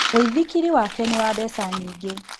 Mũithikiri wake nĩ wa mbeca nyingĩ